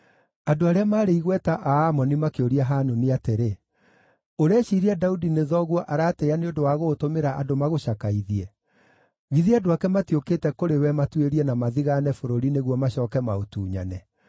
andũ arĩa maarĩ igweta a Amoni makĩũria Hanuni atĩrĩ, “Ũreciiria Daudi nĩ thoguo aratĩĩa nĩ ũndũ wa gũgũtũmĩra andũ magũcakaithie? Githĩ andũ ake matiũkĩte kũrĩ we matuĩrie na mathigaane bũrũri nĩguo macooke maũtunyane?”